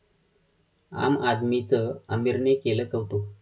आम आदमी'चं आमिरने केलं कौतुक